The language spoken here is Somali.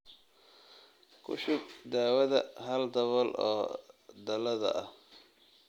Ku shub daawada hal dabool oo dhalada ah